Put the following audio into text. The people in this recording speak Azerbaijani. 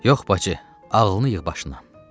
Yox, bacı, ağlını yığ başına.